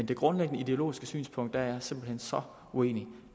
det grundlæggende ideologiske synspunkt er jeg simpelt hen så uenig